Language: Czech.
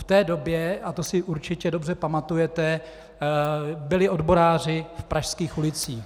V té době, a to si určitě dobře pamatujete, byli odboráři v pražských ulicích.